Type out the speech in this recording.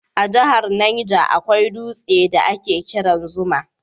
A jahar Niger akwai dutse da a ke kiran Zuma